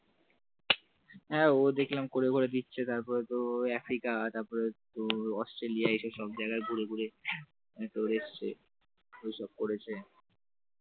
হ্যাঁ ও দেখলাম করে করে, দিচ্ছে তারপরে, তোর আফ্রিকা তারপর তোর অস্ট্রেলিয়া এইসব সব জায়গায় ঘুরে ঘুরে তোর এসেছে ওসব করেছে